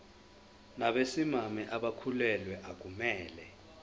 nabesimame abakhulelwe akumele